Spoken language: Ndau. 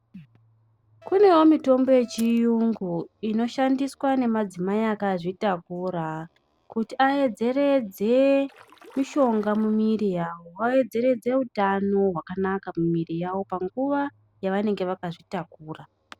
Kunewo mitombo yechiyungu inoshandiswa nemadzimai akazvitakura kuti aedzeredze mishonga mumiri yavo aedzeredze utano hwakanaka mumiri yavo panguva yavanenge vakazvitakura.